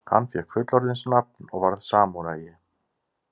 Hann fékk fullorðinsnafn og varð samúræi.